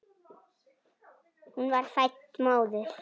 Hún var fædd móðir.